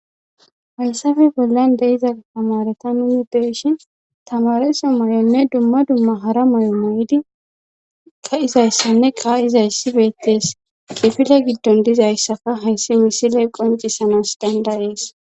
hayssafe bollan deiza tamareta nuni beshin tamaresa may7onne dumma dumma hara may7o may7di ka izayssanne ka izayssi beettees qifila giddon dizayssaka hayssi misiley qoncisanas danda ees